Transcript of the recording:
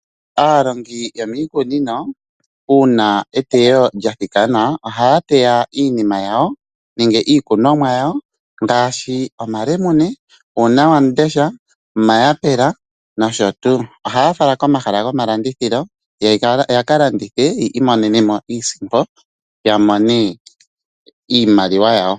Aalongi yomiikunino uuna eteyo lyathikana ohaa teya iinima yawo nenge iikunomwa yawo ngaashi omalemune, uunawamundesha, omayapela nosho tuu. Ohaya fala komahala gomalandithilo yakalandthe yamone iisimpo.